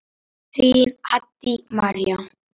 Þín, Haddý María.